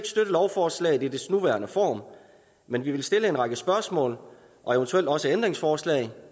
lovforslaget i dets nuværende form men vi vil stille en række spørgsmål og eventuelt også ændringsforslag